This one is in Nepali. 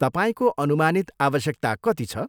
तपाईँको अनुमानित आवश्यकता कति छ?